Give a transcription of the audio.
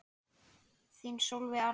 Þín Sólveig Arna.